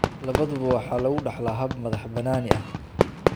Labaduba waxa lagu dhaxlaa hab madax-bannaani ah.